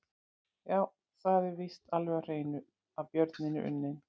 Já, það er víst alveg á hreinu að björninn er unninn!